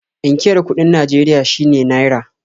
Inkiyar kuɗin Najeria shine "₦"